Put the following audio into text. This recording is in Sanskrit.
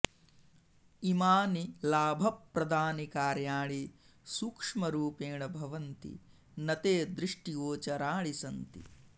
इमानि लाभप्रदानि कार्याणि सूक्ष्मरूपेण भवन्ति न ते दृष्टिगोचराणि सन्ति